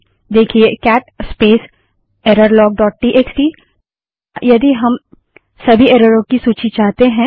देखिए cat space error log dot TXT cat space error log dot TXT लेकिन क्या यदि हम सभी एररों की सूची चाहते हैं